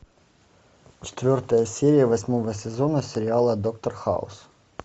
четвертая серия восьмого сезона сериала доктор хаус